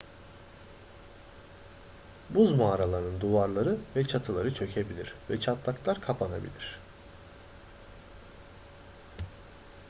buz mağaralarının duvarları ve çatıları çökebilir ve çatlaklar kapanabilir